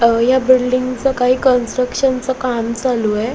या बिल्डिंग च काही कन्स्ट्रक्शन च काम चालू आहे.